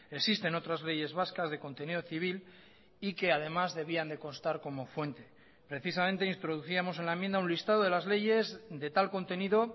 existen otras leyes vascas de contenido civil y que además debían de constar como fuente precisamente introducíamos en la enmienda un listado de las leyes de tal contenido